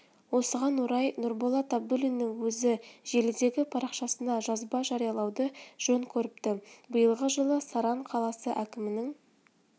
осыған орай нұрболат абдуллиннің өзі желідегі парақшасына жазба жариялауды жөн көріпті биылғы жылы саран қаласы әкімінің